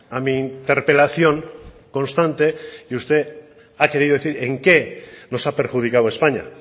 a mi interpelación constante y usted ha querido decir en qué nos ha perjudicado españa